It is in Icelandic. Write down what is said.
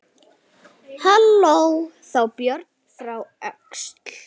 Hló þá Björn frá Öxl.